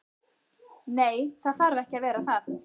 Nei, það þarf ekki að vera það.